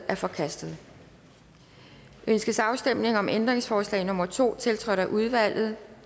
er forkastet ønskes afstemning om ændringsforslag nummer to tiltrådt af udvalget